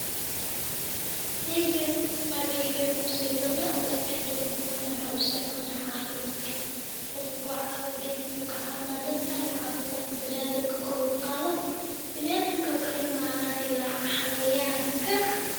Sheygan ageyga kumabadn lakin hadu kubadanani laha waxa usiticmali laha cafimadka taso gedka wuxu kucawina inu cafimadka biniadanka koor uqado, biniadanka kaliya maahane il xayawanka.